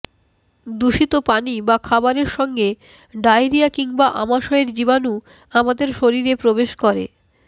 দূষিত পানি বা খাবারের সঙ্গে ডায়রিয়া কিংবা আমাশয়ের জীবাণু আমাদের শরীরে প্রবেশ করে